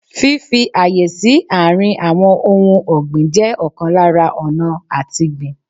Fífi ààyè sí àárín àwọn ohun ọ̀gbìn jẹ́ ọ̀kan lára ọ̀nà àtigbìn